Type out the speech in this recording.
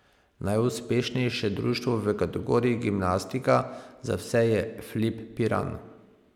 Najuspešnejše društvo v kategoriji gimnastika za vse je Flip Piran.